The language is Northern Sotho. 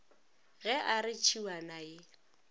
ge a re tšhiwana ye